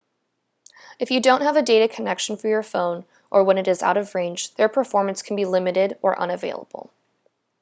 if you don't have a data connection for your phone or when it is out of range their performance can be limited or unavailable